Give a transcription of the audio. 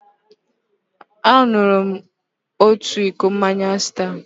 Aṅụrụ m naanị otu iko mmanya Star.